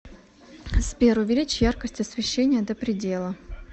сбер увеличь яркость освещения до предела